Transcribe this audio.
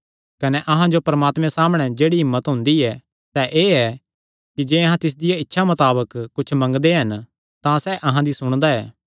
कने अहां जो परमात्मे सामणै जेह्ड़ी हिम्मत हुंदी ऐ सैह़ एह़ ऐ कि जे अहां तिसदिया इच्छा मताबक कुच्छ मंगदे हन तां सैह़ अहां दी सुणदा ऐ